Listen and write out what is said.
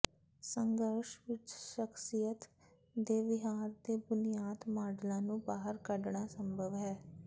ਸੰਘਰਸ਼ ਵਿਚ ਸ਼ਖਸੀਅਤ ਦੇ ਵਿਹਾਰ ਦੇ ਬੁਨਿਆਦੀ ਮਾੱਡਲਾਂ ਨੂੰ ਬਾਹਰ ਕੱਢਣਾ ਸੰਭਵ ਹੈ